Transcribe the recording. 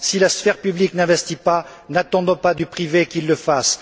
Si la sphère publique n'investit pas, n'attendons pas du privé qu'il le fasse.